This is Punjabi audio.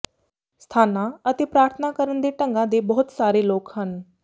ਸਥਾਨਾਂ ਅਤੇ ਪ੍ਰਾਰਥਨਾ ਕਰਨ ਦੇ ਢੰਗਾਂ ਦੇ ਬਹੁਤ ਸਾਰੇ ਲੋਕ ਹਨ